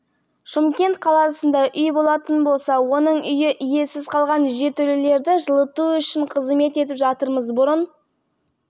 үй иелерінің өзіне беретін болсақ қазір шақыратын болса сол жұмыстарды біз істеп береміз халықтан өтінеріміз